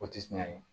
O tɛ tiɲɛ ye